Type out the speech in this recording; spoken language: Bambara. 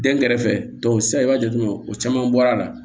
Den kɛrɛfɛ sisan i b'a jateminɛ o caman bɔra a la